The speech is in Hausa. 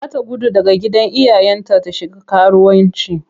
Za ta gudu daga gidan iyayenta ta shiga karuwanci.